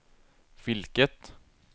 vilket